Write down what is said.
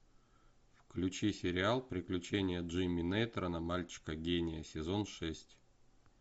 включи сериал приключения джимми нейтрона мальчика гения сезон шесть